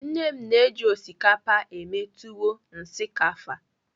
Nne m na-eji osikapa eme tuwo shinkafa.